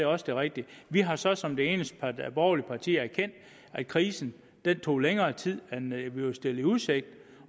også det rigtige vi har så som det eneste borgerlige parti erkendt at krisen tog længere tid end vi var stillet i udsigt